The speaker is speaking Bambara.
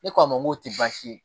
Ne k'a ma n k'o tɛ baasi ye